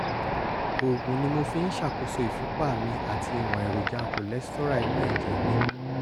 oògùn ni mo fi ń ṣàkóso ìfúnpá mi àti ìwọ̀n èròjà cholesterol inú ẹ̀jẹ̀ mi